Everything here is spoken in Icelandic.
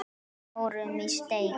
Við fórum í steik.